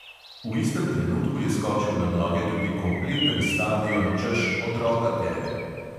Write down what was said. V istem trenutku je skočil na noge tudi kompleten stadion, češ, otroka tepe!